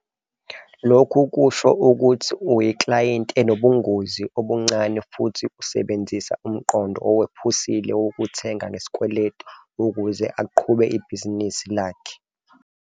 Lokhu kusho ukuthi uyiklayenti enobungozi obuncane futhi usebenzisa umqondo owephusile wokuthenga ngesikweleti ukuze aqhube ibhizinisi lakhe.